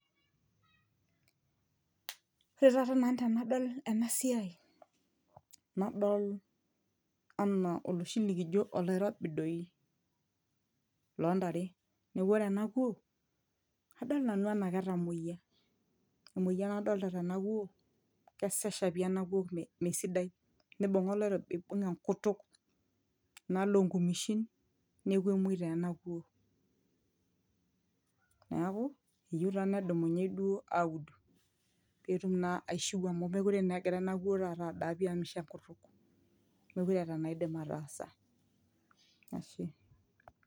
ore taata nanu tenadol ena siai nadol anaa oloshi likijo oloirobi dei lontare neku ore ena kuo kadol nanu enaa ketamuoyia emoyian adolta tena kuo kesesha pii ena kuo mesidai nibung'a oloirobi aibung enkutuk enaalo onkumeshin neeku emuoi taa ena kuo niaku eyieu taa nedumunyei duo aud petum naa aishiu amu mekure naa egira ena kuo taata adaa pii amu misho enkutuk mekure eeta enaidim ataasa ashe.